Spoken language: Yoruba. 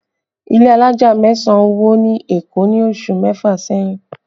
Ilé alájà mẹ́sàn wó ni Èkó ní oṣù mẹ́fà sẹ́yìn